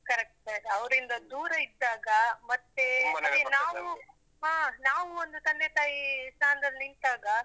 Correct correct ಅವ್ರಿಂದ ದೂರ ಇದ್ದಾಗ ನಾವು. ಹಾ ನಾವು ಒಂದು ತಂದೆ ತಾಯಿ ಸ್ಥಾನದಲ್ಲಿ ನಿಂತಾಗ.